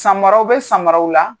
Samaraw be samaw la